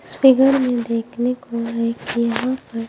इस फिगर में देखने को यहां पर--